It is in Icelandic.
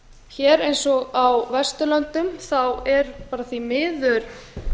hér eins og á vesturlöndum er bara því miður